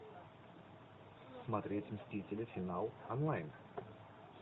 смотреть мстители финал онлайн